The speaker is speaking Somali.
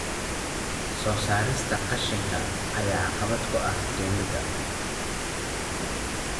Soo saarista qashinka ayaa caqabad ku ah dowladda.